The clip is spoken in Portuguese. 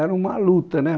Era uma luta, né?